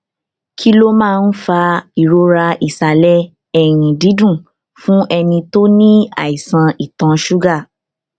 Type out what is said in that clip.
kí ló máa ń fa ìrora ìsàlẹ ẹyìn dídùn fún ẹni tó ní àìsàn ìtọ ṣúgà